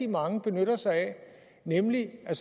mange benytter sig af nemlig at